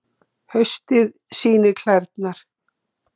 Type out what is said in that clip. Haustið sýnir klærnar